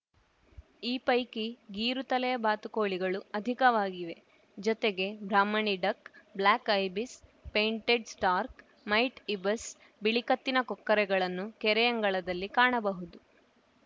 ಈ ಪೈಕಿ ಗೀರು ತಲೆಯ ಬಾತುಕೋಳಿಗಳು ಅಧಿಕವಾಗಿವೆ ಜೊತೆಗೆ brahminy duck black ibis painted stork white ibis ಬಿಳಿ ಕತ್ತಿನ ಕೊಕ್ಕರೆಗಳನ್ನು ಕೆರೆಯಂಗಳದಲ್ಲಿ ಕಾಣಬಹುದು